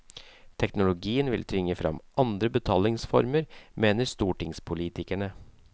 Teknologien vil tvinge frem andre betalingsformer, mener stortingspolitikere.